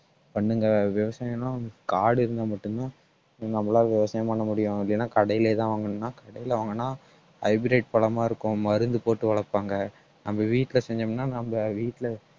பண்ணுங்க விவசாயம் எல்லாம் காடு இருந்தா மட்டும்தான் நம்மளால விவசாயம் பண்ண முடியும் இல்லைன்னா கடையிலேதான் வாங்கணும்னா கடையில வாங்குனா hybrid பழமா இருக்கும் மருந்து போட்டு வளர்ப்பாங்க நம்ம வீட்டில செஞ்சோம்னா நம்ம வீட்டில